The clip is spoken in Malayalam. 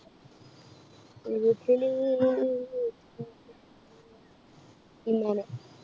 വീട്ടില്~ ഇമ്മാനെ.